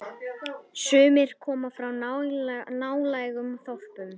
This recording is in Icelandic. Sumir koma frá nálægum þorpum.